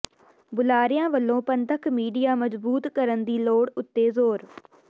ਬੁਲਾਰਿਆਂ ਵਲੋਂ ਪੰਥਕ ਮੀਡੀਆ ਮਜ਼ਬੂਤ ਕਰਨ ਦੀ ਲੋੜ ਉੱਤੇ ਜ਼ੋਰ